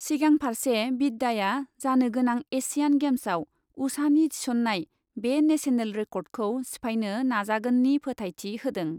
सिगां फार्से बिद्याया जानो गोनां एसियान गेम्सआव उषानि थिसन्नाय बे नेशनेल रेकर्डखौ सिफायनो नाजागोननि फोथायथि होदों।